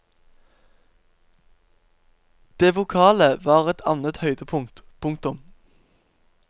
Det vokale var et annet høydepunkt. punktum